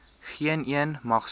geeneen mag sonder